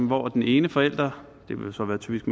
hvor den ene forælder og det vil så typisk